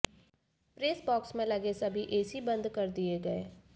press box में लगे सभी एसी बंद कर दिए गए